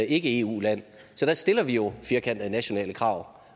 ikke eu land så der stiller vi jo firkantede nationale krav